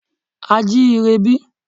A à jí ire bí?